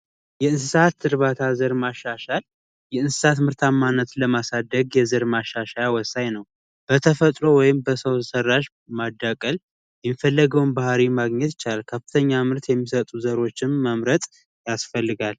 የእንስሳት ህክምና የመከላከል ስራዎች ውስጥ አንዱ የሆነው የባዮ ደህንነት ነው። ይኸውም በሽታ ወደ እርሻ እንዳይጋቡ ና እንዳይሰራጩ የሚረዱ ጥብቅ የቁጥጥር እርምጃዎችን መውሰድ ነው።